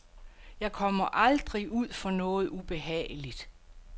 Jeg kommer aldrig ud for noget ubehageligt.